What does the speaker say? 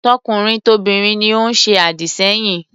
Tokunrin tobinrin ni ó ń se àdìsẹ́yìn.